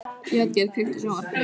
Játgeir, kveiktu á sjónvarpinu.